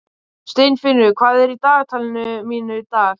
Steinfinnur, hvað er í dagatalinu mínu í dag?